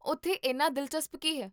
ਉੱਥੇ ਇੰਨਾ ਦਿਲਚਸਪ ਕੀ ਹੈ?